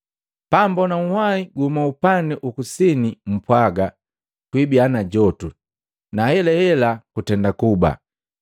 Pammbona unhwahi guhuma upandi ukusine mpwaaga, ‘Kuibiya na jotu’ Na ahelahe kutenda kuba.